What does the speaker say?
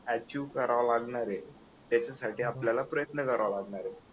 achieve करावा लागणार आहे त्याच्यासारखे आपल्याला प्रयत्न करावे लागणार आहे